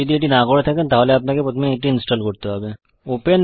আপনি যদি এটি না করে থাকেন তাহলে আপনাকে প্রথমে এটি ইনস্টল করতে হবে